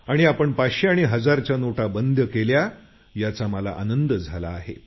आपण पाचशे आणि हजारच्या नोटा बंद केल्या याचा मला फार आनंद झाला आहे